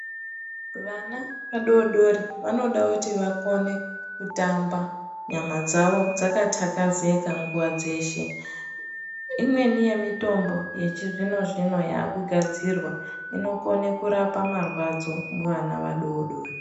Vana vadodori vanoda kuti vakone kutamba nyama dzavo dzkatakazeka nguva dzeshe imweni yemitombo yechizvino zvino yakugadzirwa inokone kurapa marwadzo muvana vadodori .